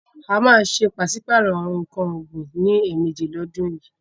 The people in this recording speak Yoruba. A má a ṣe pàsípàrò nǹkan ọ̀gbin ní ẹ̀mẹjì lọ́dún yìí.